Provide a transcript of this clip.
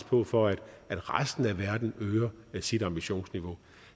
på for at resten af verden øger sit ambitionsniveau